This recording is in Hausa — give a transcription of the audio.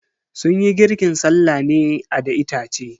Sunyi girkin sallah ne a da itace.